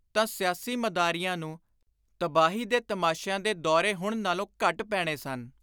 ਤਾਂ ਸਿਆਸੀ ਮਦਾਰੀਆਂ ਨੂੰ ਤਬਾਹੀ ਦੇ ਤਮਾਸ਼ਿਆਂ ਦੇ ਦੌਰੇ ਹੁਣ ਨਾਲੋਂ ਘੱਟ ਪੈਣੇ ਸਨ।